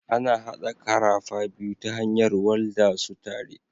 Ana haɗa karafa biyu ta hanyar walda su tare.